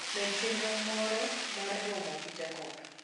med chenro moro mar romo gi jakobo